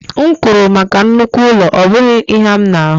M kwụrụ maka nnukwu ụlọ, ọ bụghị ihe a m na-ahụ